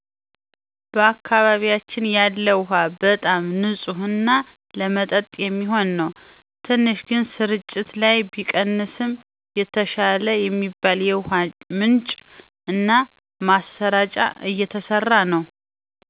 በአካባቢያችን ያለው ውሃ በጣም ንፅህ እና ለመጠጥ የሚሆን ነው። ትንሽ ግን ስርጭት ላይ ቢቀንስም የተሻለ የሚባል የውሃ ምንጭ እና ማሰራጫ እየተሰራ ነው